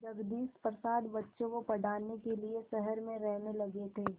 जगदीश प्रसाद बच्चों को पढ़ाने के लिए शहर में रहने लगे थे